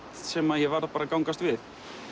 sem ég varð að gangast við